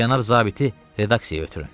Cənab zabiti redaksiyaya ötürün.